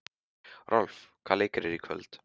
Rolf, hvaða leikir eru í kvöld?